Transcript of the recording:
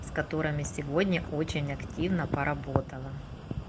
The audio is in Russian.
с которыми сегодня очень активно поработала